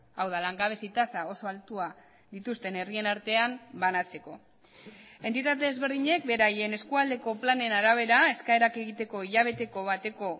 hau da langabezi tasa oso altua dituzten herrien artean banatzeko entitate ezberdinek beraien eskualdeko planen arabera eskaerak egiteko hilabeteko bateko